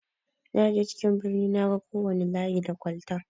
Naje cikin birni naga kowana layi da kwalta.